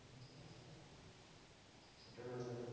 সেইটো হয় বাৰু।